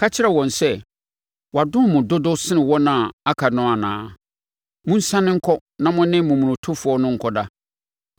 Ka kyerɛ wɔn sɛ, ‘Wadom mo dodo sene wɔn a aka no anaa? Monsiane nkɔ na mo ne momonotofoɔ no nkɔda.’